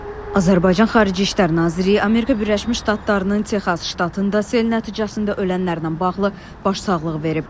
Azərbaycan Xarici İşlər Nazirliyi Amerika Birləşmiş Ştatlarının Texas ştatında sel nəticəsində ölənlərlə bağlı başsağlığı verib.